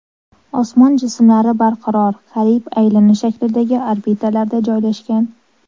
Osmon jismlari barqaror, qariyb aylana shaklidagi orbitalarda joylashgan.